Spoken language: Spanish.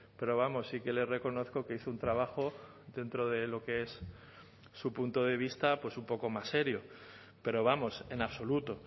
pero vamos sí que le reconozco que hizo un trabajo dentro de lo que es su punto de vista pues un poco más serio pero vamos en absoluto